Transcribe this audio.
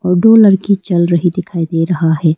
और दो लड़की चल रही दिखाई दे रहा है।